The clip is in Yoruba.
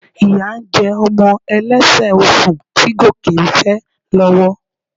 Ìyá ń jẹ ọmọ ẹlẹ́sẹ̀ osùn tí Gòkè ń fẹ́ lọ́wọ́